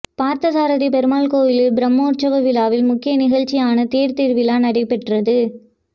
பார்த்தசாரதி பெருமாள் கோயில் பிரமோற்சவ விழாவில் முக்கிய நிகழ்ச்சியான தேர்த்திருவிழா நடைபெற்றது